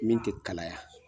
Min te kalaya.